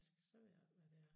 Så ved jeg ikke hvad det er